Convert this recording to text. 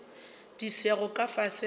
di sego ka fase ga